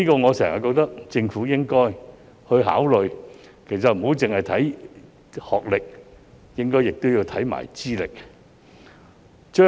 我一直認為，政府應該不只考慮學歷，也應看看資歷。